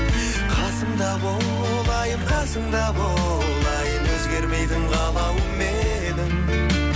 қасымда бол айым қасымда бол айым өзгермейтін қалауым менің